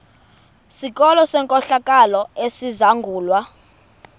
sikolo senkohlakalo esizangulwa